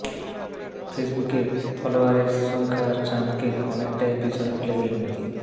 ফেসবুকে ফলোয়ারের সংখ্যায় ট্রাম্পকে অনেকটাই পেছনে ফেলে দিলেন মোদী